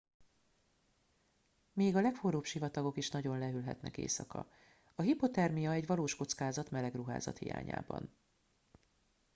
még a legforróbb sivatagok is nagyon lehűlhetnek éjszaka a hipothermia egy valós kockázat meleg ruházat hiányában